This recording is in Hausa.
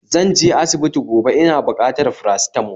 Zanje asibiti gobe, ina bukatar paracetamol